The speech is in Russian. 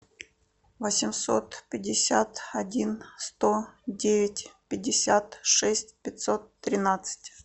восемьсот пятьдесят один сто девять пятьдесят шесть пятьсот тринадцать